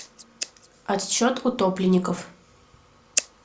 отсчет утопленников